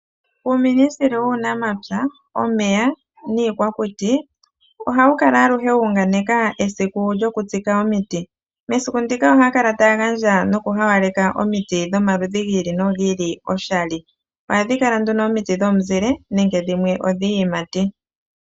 Uuministeli wUunamapya, Omeya nIikwakuti ohawu kala aluhe wu unganeka esiku lyokutsika omiti. Mesiku ndika ohaya kala taya gandja nokuhawaleka omiti dhomaludhi gi ili nogi ili oshali. Omiti ndhika ohadhi kala dhomizile nenge dhimwe odhiiyimati.